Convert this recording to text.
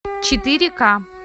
четыре ка